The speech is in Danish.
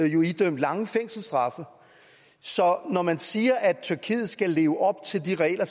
jo idømt lange fængselsstraffe så når man siger at tyrkiet skal leve op til de regler